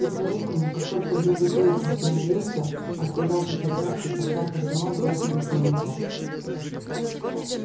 и поэтому как только белый клык остановился отказавшись от драки овчарка сама бросилась на него